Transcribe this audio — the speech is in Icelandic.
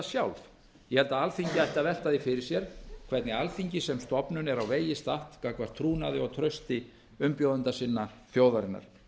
sjálf ég held að alþingi ætti að velta því fyrir sér hvernig alþingi sem stofnun er á vegi statt gagnvart trúnaði og trausti umbjóðenda sinna þjóðarinnar